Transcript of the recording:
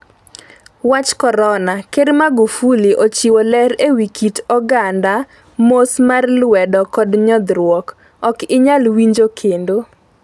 Wach Korona: Ker Magufuli ochiwo ler ewi kit oganda mos mar lwedo kod nyodhruok. Ok inyal winjo kendo